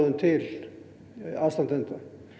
til aðstandenda